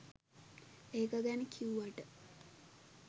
ඒක ගැන කිව්වට.